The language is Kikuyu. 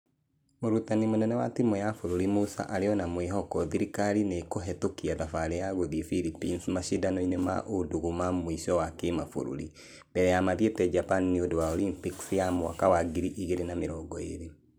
mũrutani mũnene wa timũ ya bũrũri musa arĩo na mwĩhoko thirikarĩ nĩkũhetokia thabarĩ yao gũthie Phillipines mashidano-inĩ ma ũndũgũ ma mũico ma kĩmabũrũri . Mbere ya mathiete japan nĩũndũ wa olympics ya mwaka wa ngiri igĩrĩ na mĩrongo ĩrĩ.